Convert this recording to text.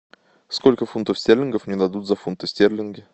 сколько фунтов стерлингов мне дадут за фунты стерлинги